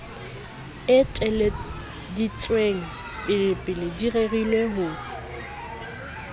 eteleditsweng pelepele di rerile ho